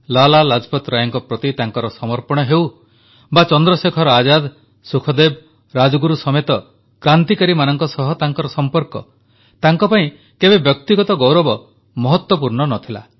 ଲାଲା ଲାଜପତ ରାୟଙ୍କ ପ୍ରତି ତାଙ୍କର ସମର୍ପଣ ହେଉ ବା ଚନ୍ଦ୍ରଶେଖର ଆଜାଦ ସୁଖଦେବ ରାଜଗୁରୁ ସମେତ କ୍ରାନ୍ତିକାରୀମାନଙ୍କ ସହ ତାଙ୍କର ସମ୍ପର୍କ ଅତୁଟ ଥିଲା ତାଙ୍କ ପାଇଁ କେବେ ବ୍ୟକ୍ତିଗତ ଗୌରବ ମହତ୍ୱପୂର୍ଣ୍ଣ ନଥିଲା